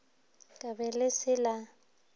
ka be le se la